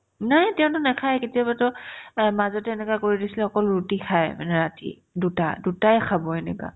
নায়ে তেওঁতো নাখাই কেতিয়াবাতো এ মাজতে এনেকুৱা কৰি দিছিলে অকল ৰুটি খাই মানে ৰাতি দুটা দুটায়ে খাব এনেকা